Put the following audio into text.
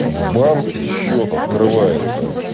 в банке счёт открывается